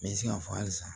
N bɛ se k'a fɔ hali san